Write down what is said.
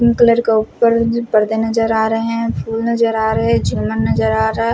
के उपर मुझे परदे नज़र आ रहे है फूल नज़र आ रहे है चिलम नज़र आ रहा --